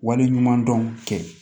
Wale ɲumandɔn kɛ